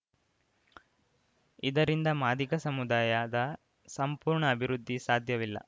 ಇದರಿಂದ ಮಾದಿಗ ಸಮುದಾಯದ ಸಂಪೂರ್ಣ ಅಭಿವೃದ್ಧಿ ಸಾಧ್ಯವಿಲ್ಲ